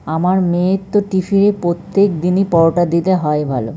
আমার মেয়ের তো টিফিন -এ প্রত্যেক দিনই পরোটা দিয়ে হয় ভালো।